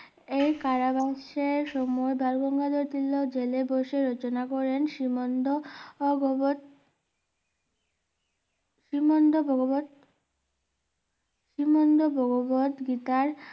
এই কারাবাসের সময় বালগঙ্গাধর তিলক জেলে বসে রচনা করে শ্রীমন্ত ভগবত শ্রীমন্ত ভগবত শ্রীমন্ত ভগবত গীতার